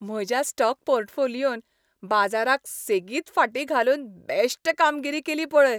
म्हज्या स्टॉक पोर्टफोलियोन बाजाराक सेगीत फाटीं घालून बॅश्ट कामगिरी केली पळय.